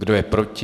Kdo je proti?